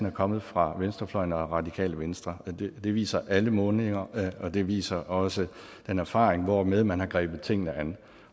er kommet fra venstrefløjen og radikale venstre det viser alle målinger og det viser også den erfaring hvormed man har grebet tingene an